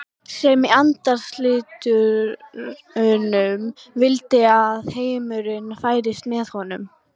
sem í andarslitrunum vildi að heimurinn færist með honum.